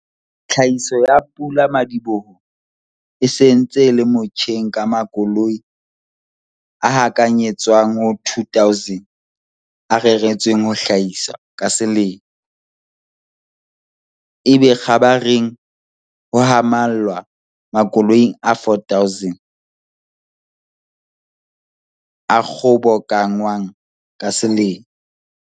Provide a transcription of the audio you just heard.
Tlhahiso ya pula-madiboho e se ntse e le motjheng ka makoloi a hakanyetswang ho 2 000 a reretsweng ho hlahiswa ka selemo, ebe kgabareng ho hahamallwa makoloing a 4 000 a kgobokanngwang ka selemo.